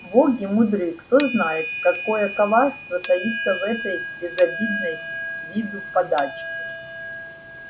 боги мудры кто знает какое коварство таится в этой безобидной с виду подачке